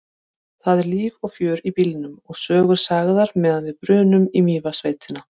Það er líf og fjör í bílnum og sögur sagðar meðan við brunum í Mývatnssveitina.